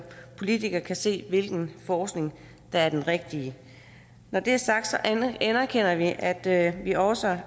politikere kan se hvilken forskning der er den rigtige når det er sagt anerkender vi at at vi også